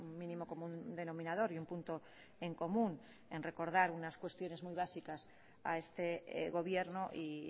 mínimo común denominador y un punto en común en recordar unas cuestiones muy básicas a este gobierno y